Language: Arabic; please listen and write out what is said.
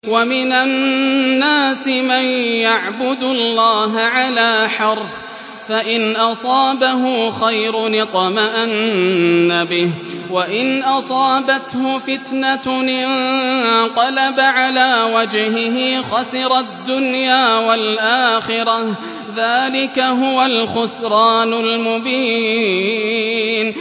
وَمِنَ النَّاسِ مَن يَعْبُدُ اللَّهَ عَلَىٰ حَرْفٍ ۖ فَإِنْ أَصَابَهُ خَيْرٌ اطْمَأَنَّ بِهِ ۖ وَإِنْ أَصَابَتْهُ فِتْنَةٌ انقَلَبَ عَلَىٰ وَجْهِهِ خَسِرَ الدُّنْيَا وَالْآخِرَةَ ۚ ذَٰلِكَ هُوَ الْخُسْرَانُ الْمُبِينُ